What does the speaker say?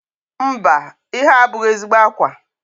Mba, ihe a abụghị ezigbo ákwà